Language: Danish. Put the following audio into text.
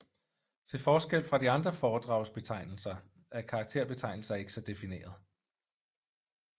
Til forskel fra de andre foredragsbetegnelser er karakterbetegnelser ikke så difineret